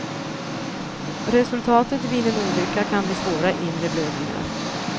Resultatet vid en olycka kan bli svåra inre blödningar.